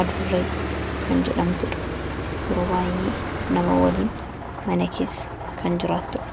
Adurre kan jedhamtudha yeruu waayyee nama waliin mana keessa kan jiraattudha.